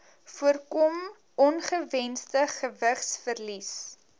voorkom ongewensde gewigsverlies